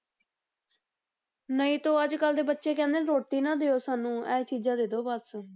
ਨਹੀਂ ਤਾਂ ਅੱਜ ਕੱਲ੍ਹ ਦੇ ਬੱਚੇ ਕਹਿੰਦੇ ਨੇ ਰੋਟੀ ਨਾ ਦਿਓ ਸਾਨੂੰ ਇਹ ਚੀਜ਼ਾਂ ਦੇ ਦਓ ਬਸ।